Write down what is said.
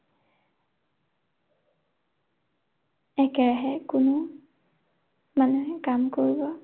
একেৰাহে কোনো মানুহে কাম কৰিব